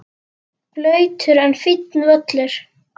Blautur en fínn völlur.